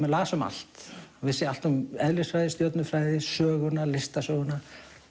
las um allt vissi allt um eðlisfræði stjörnufræði söguna listasöguna